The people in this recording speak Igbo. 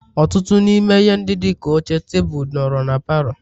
Ọtụtụ n'ime ihe ndị dị ka oche, tebụl, nọrọ na palọ